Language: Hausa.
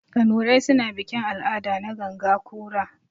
Kanurai suna bikin-al'ada na ganga kura.